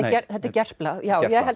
þetta er Gerpla já ég held